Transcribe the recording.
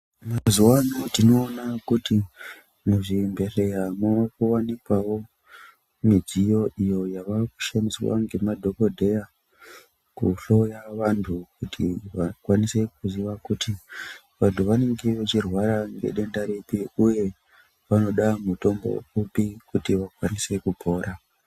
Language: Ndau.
Mazuvaano tinoona kuti muzvibhedhleyamwo mowanikwawo midziyo iyo yakushandiswa ngemadhokodheya kuhloya vantu kuti vakwanise kuziva kuti vantu vanenge vachirwara ngedenda ripi uye vanoda mutombo upi kuti vakwanise kupora.